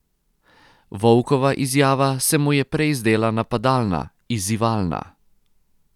Volkova izjava se mu je prej zdela napadalna, izzivalna.